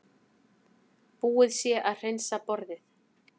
Búið sé að hreinsa borðið.